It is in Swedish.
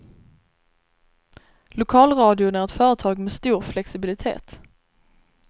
Lokalradion är ett företag med stor flexibilitet.